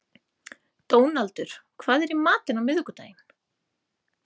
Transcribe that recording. Dónaldur, hvað er í matinn á miðvikudaginn?